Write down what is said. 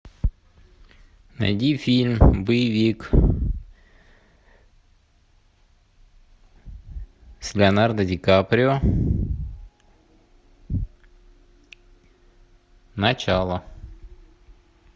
найди фильм боевик с леонардо ди каприо начало